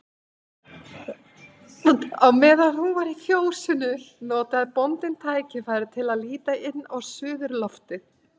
Meðan hún var í fjósinu notaði bóndinn tækifærið til að líta inn á suðurloftið.